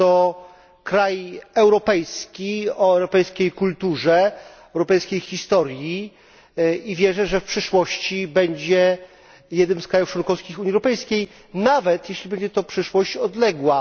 To kraj europejski, o europejskiej kulturze, europejskiej historii i wierzę, że w przyszłości będzie jednym z krajów członkowskich Unii Europejskiej, nawet jeśli będzie to przyszłość odległa.